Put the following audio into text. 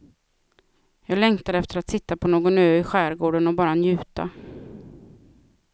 Jag längtar efter att sitta på någon ö i skärgården och bara njuta.